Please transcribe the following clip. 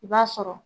I b'a sɔrɔ